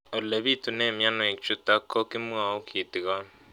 Ole pitune mionwek chutok ko kimwau kitig'�n